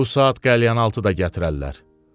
Bu saat qəlyanaltı da gətirərlər.